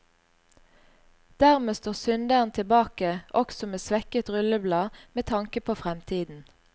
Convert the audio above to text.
Dermed står synderen tilbake også med svekket rulleblad med tanke på fremtiden.